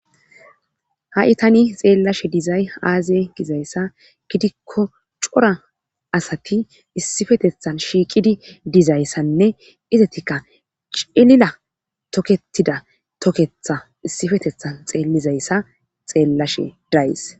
Ha7i tani xeellashe dizay aaze gizayssa gidikko cora asati issifetethan shiiqidi dizayssanne izatikka cilila toketida toketha issifetethan xeellizayssa xeellashe days.